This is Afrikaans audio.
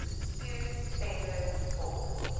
to centre for